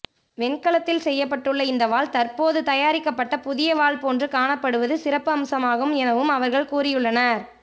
வெண்கலத்தில் செய்யப்பட்டுள்ள இந்த வாள் தற்போது தயாரிக்கப்பட்ட புதிய வாள் போன்று காணப்படுவது சிறப்பம்சமாகும் எனவும் அவர்கள் கூறியுள்ளனர்